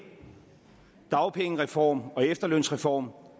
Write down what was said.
dagpengereform og en efterlønsreform